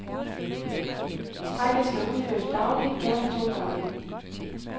Strækket skal udføres dagligt, gerne to gange.